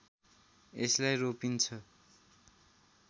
यसलाई रोपिन्छ